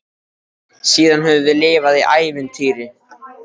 Síðan höfum við lifað í ævintýri.